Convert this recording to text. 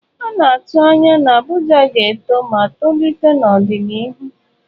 A na-atụ anya na Abuja ga-eto ma tolite n'ọdịnihu.